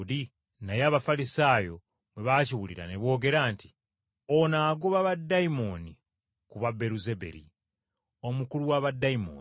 Naye Abafalisaayo bwe baakiwulira ne boogera nti, “Ono agoba baddayimooni ku bwa Beeruzebuli omukulu wa baddayimooni.”